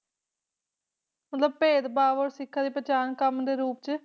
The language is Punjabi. ਮਤਲਬ ਭੇਦ ਭਾਵ ਤੇ ਸਿਖਾਂ ਦੀ ਪਹਿਚਾਣ ਕੰਮ ਦੇ ਰੂਪ ਚ ਵਰਣਿਤ ਕੀਤਾ